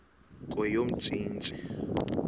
kweyomntsintsi